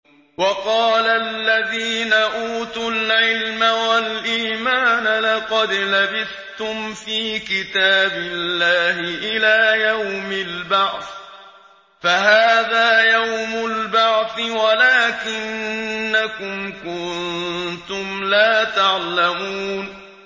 وَقَالَ الَّذِينَ أُوتُوا الْعِلْمَ وَالْإِيمَانَ لَقَدْ لَبِثْتُمْ فِي كِتَابِ اللَّهِ إِلَىٰ يَوْمِ الْبَعْثِ ۖ فَهَٰذَا يَوْمُ الْبَعْثِ وَلَٰكِنَّكُمْ كُنتُمْ لَا تَعْلَمُونَ